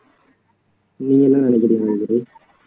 நீங்க என்ன நினைக்கிறீங்க ராஜதுரை